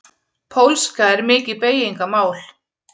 Pólska er mikið beygingamál.